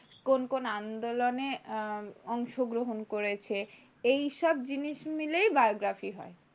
কোন কোন আন্দোলনে অংশগ্রহণ করেছে এইসব জিনিস মিলেই biography হয়।